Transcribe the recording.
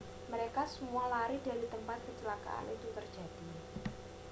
mereka semua lari dari tempat kecelakaan itu terjadi